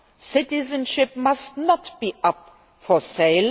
not. Citizenship must not be up for sale.